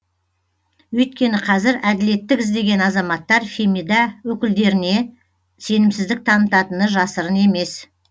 өйткені қазір әділеттік іздеген азаматтар фемида өкілдеріне сенімсіздік танытатыны жасырын емес